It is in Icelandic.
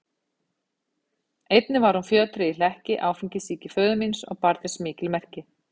Einnig hún var fjötruð í hlekki áfengissýki föður míns og bar þess mikil merki.